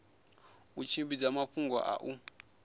u tshimbidza mafhungo a u